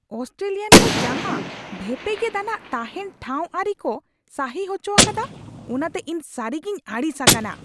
Australian ᱠᱚ ᱡᱟᱦᱟᱸ ᱵᱷᱮᱯᱮᱜᱮᱫ ᱟᱱᱟᱜ ᱛᱟᱦᱮᱱ ᱴᱷᱟᱶ ᱟᱹᱨᱤ ᱠᱚ ᱥᱟᱹᱨᱤᱦᱚᱪᱚ ᱟᱠᱟᱫᱟ ᱚᱱᱟᱛᱮ ᱤᱧᱫᱚ ᱥᱟᱹᱨᱤᱜᱤᱧ ᱟᱹᱲᱤᱥ ᱟᱠᱟᱱᱟ ᱾